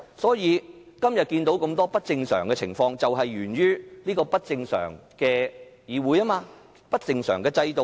所以，今天看到這麼多不正常情況，就是源於這個不正常的議會和不正常的制度。